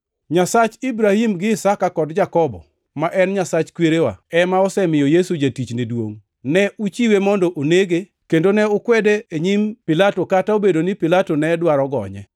Nyasach Ibrahim gi Isaka kod Jakobo, ma en Nyasach kwerewa, ema osemiyo Yesu jatichne duongʼ. Ne uchiwe mondo onege, kendo ne ukwede e nyim Pilato, kata obedo ni Pilato ne dwaro gonye.